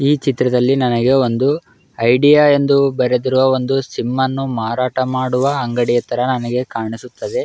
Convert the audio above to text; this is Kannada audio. ಈ ಚಿತ್ರದಲ್ಲಿ ನನಗೆ ಒಂದು ಐಡಿಯಾ ಅಂತ ಬರೆದಿರುವ ಒಂದು ಸಿಮ್ ಅನ್ನು ಮಾರಾಟ ಮಾಡುವ ಅಂಗಡಿಯ ತರ ನನಗೆ ಕಾಣಿಸುತ್ತದೆ.